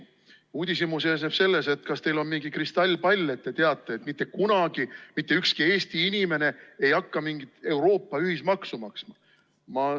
Mu uudishimu seisneb selles: kas teil on mingi kristallpall, et te teate, et mitte kunagi mitte ükski Eesti inimene ei hakka mingit Euroopa ühismaksu maksma?